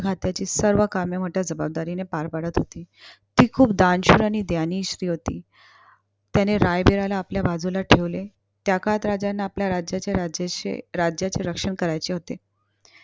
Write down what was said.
राज्याची सर्व कामे मोठ्या जबाबदारीने पार पडत होती. ती खूप दानशूर आणि ज्ञानी स्त्री होती. त्याने रायबिराला आपल्या बाजूला ठेवले. त्या काळात राजांना आपल्या राजा राज्याचे रक्षण करायचे होते.